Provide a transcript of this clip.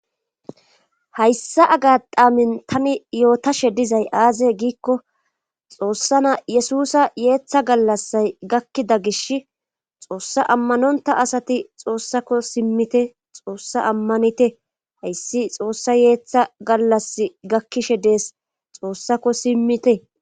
Hayssa agadhaamin tani yootashe dizay aazee giikko xoossa na yesusa yeeththa gallassay gakkida gish xoossa ammanonta asati xoossako simmite xoossa ammanite hayssi xoossa yeeththa gallas gakkishe dees xoossako simmite.